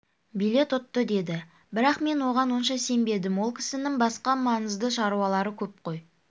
билет ұтты деді бірақ мен оған онша сенбедім ол кісінің басқа маңызды шаруалары көп қой